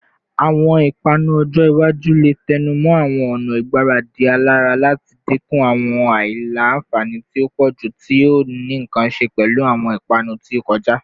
Awọn ipanu ojo iwaju le tẹnumọ awọn ọna igbaradi alara lati dinku awọn aila-nfani ti o pọju ti o ni nkan ṣe pẹlu awọn ipanu ti o kọja